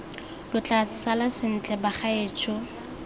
lo tla sala sentle bagaetsho